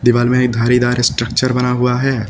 बाहर में एक धारीदार स्ट्रक्चर बना हुआ है।